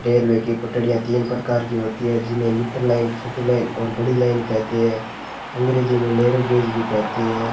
Railway की पटडियां तीन प्रकार की होती हैं जिन्हें मिटल लाइन छोटी लाइन और बड़ी लाइन कहते हैं अंग्रेजी में नैरो गेज भी कहते हैं।